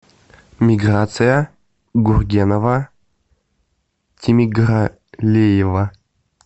миграция гургенова тимергалиева